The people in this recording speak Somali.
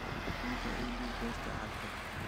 Runta ii dhiib beerta cagta